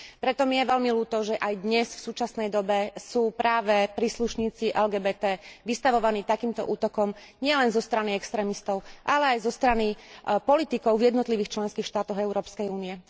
Preto mi je veľmi ľúto, že aj dnes, v súčasnej dobe sú práve príslušníci LGBT vystavovaní takýmto útokom nielen zo strany extrémistov, ale aj zo strany politikov v jednotlivých členských štátoch Európskej únie.